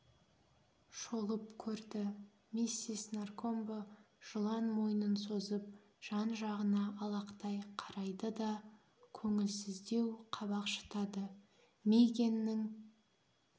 шолып көрді миссис наркомбо жылан мойнын созып жан-жағына алақтай қарайды да көңілсіздеу қабақ шытады мигэннің